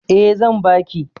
Eh zan baki